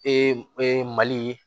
mali